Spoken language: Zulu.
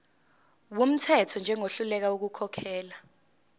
wumthetho njengohluleka ukukhokhela